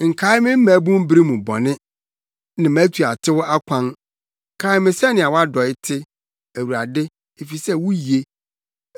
Nkae me mmabun bere mu bɔne ne mʼatuatew akwan; kae me sɛnea wʼadɔe te, Awurade, efisɛ wuye.